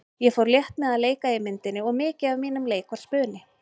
Ég fór létt með að leika í myndinni og mikið af mínum leik var spuni.